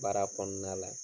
Baara kɔnɔna la.